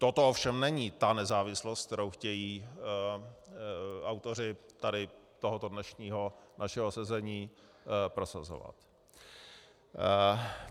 Toto ovšem není ta nezávislost, kterou chtějí autoři tady tohoto dnešního našeho sezení prosazovat.